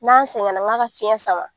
N'an sɛgɛnna nk'a ka fiɲɛ sama